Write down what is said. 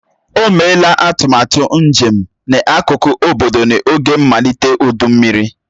O meela atụmatụ njem n'akụkụ obodo n'oge mmalite ụdụ mmiri.